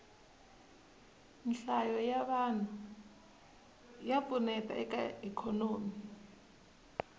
nhlayo ya vanhu ya pfuneta eka ikhonomi